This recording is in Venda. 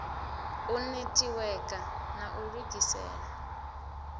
u netiweka na lu ugisela